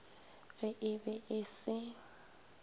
ge e be e se